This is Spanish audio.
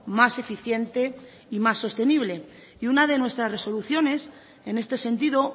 más eficiente y más sostenible y una de nuestras resoluciones en este sentido